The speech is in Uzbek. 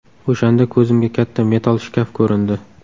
O‘shanda ko‘zimga katta metall shkaf ko‘rindi.